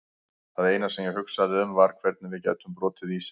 Það eina sem ég hugsaði um var hvernig við gætum brotið ísinn.